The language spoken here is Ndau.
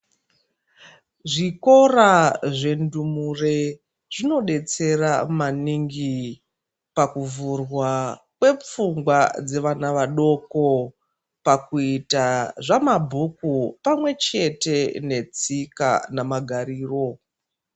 Zvikora zvendumure zvinodetsera maningi pakuvhurwa kwepfungwa dzevana vadoko pakuita zvamabhuku pamwechete netsika namagariro.